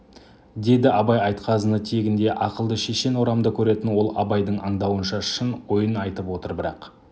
деді абай айтқазыны тегінде ақылды шешен орамды көретін ол абайдың аңдауынша шын ойын айтып отыр бірақ